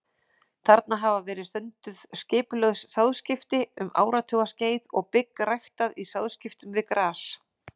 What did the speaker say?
Þarna hafa verið stunduð skipulögð sáðskipti um áratugaskeið og bygg ræktað í sáðskiptum við gras.